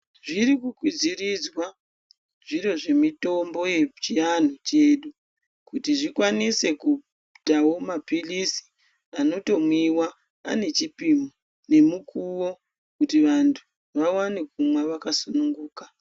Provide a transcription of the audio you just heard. Zviri ku kwidziridzwa zviro zve mitombo yechi antu chedu kuti zvikwanise kuitawo ma pilisi anoto mwiwa ane chipimo ne mukuvo kuti vantu va wane kumwa vaka sungunuka.